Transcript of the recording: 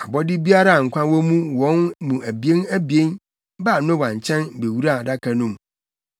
Abɔde biara a nkwa wɔ wɔn mu abien abien baa Noa nkyɛn bewuraa Adaka no mu.